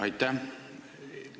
Aitäh!